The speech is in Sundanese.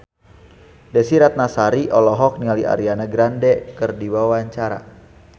Desy Ratnasari olohok ningali Ariana Grande keur diwawancara